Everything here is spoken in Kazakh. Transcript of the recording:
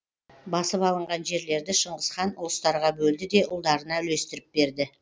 басып алынған жерлерді шыңғыс хан ұлыстарға бөлді де ұлдарына үлестіріп берді